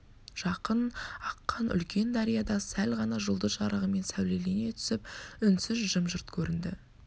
жақын аққан үлкен дария да сәл ғана жұлдыз жарығымен сәулелене түсіп үнсіз жым-жырт көрінді